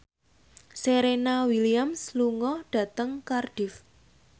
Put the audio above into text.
Serena Williams lunga dhateng Cardiff